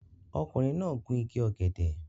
Ọkùnrin náà gun igi ọ̀gẹ̀dẹ̀